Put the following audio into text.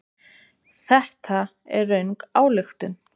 Þetta er röng ályktun.